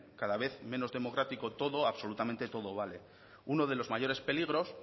cada vez menos democrático todo absolutamente todo vale uno de los mayores peligros